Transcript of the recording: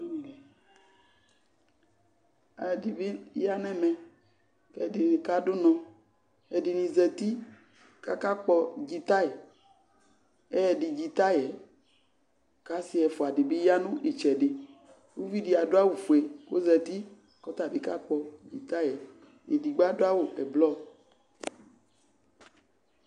ɛdɩbɩ ya nɛmɛ ɛdɩnɩ kadʊnɔ ɛdɩnɩ zəti kakakpɔ dzitay ɛyɛdɩ dzitayɛ kasɩ ɛfʊa dɩbɩ yanʊ ɩtsɛdɩ uvidi adʊawʊfue kozǝti kɔtabɩ kakpɔ dzitayɛ edigbo adʊawʊ ɛblɔ